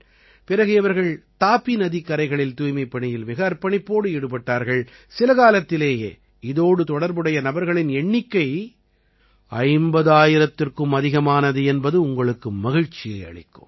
பிறகு இவர்கள் தாபி நதிக் கரைகளில் தூய்மைப்பணியில் மிக அர்ப்பணிப்போடு ஈடுபட்டார்கள் சில காலத்திலேயே இதோடு தொடர்புடைய நபர்களின் எண்ணிக்கை 50000ற்கும் அதிகமானது என்பது உங்களுக்கு மகிழ்ச்சியை அளிக்கும்